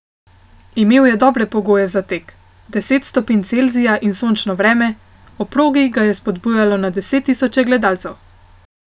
Imel je dobre pogoje za tek, deset stopinj Celzija in sončno vreme, ob progi ga je spodbujalo na deset tisoče gledalcev.